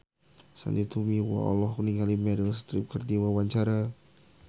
Sandy Tumiwa olohok ningali Meryl Streep keur diwawancara